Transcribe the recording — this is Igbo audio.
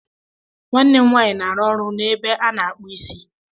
Nwanne m nwaanyị na-arụ ọrụ n'ebe a na-akpụ isi.